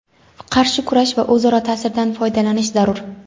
qarshi kurash va o‘zaro ta’sirdan foydalanish zarur.